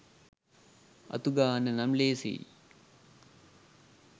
අතුගාන්න නම් ලේසියි